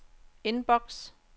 inbox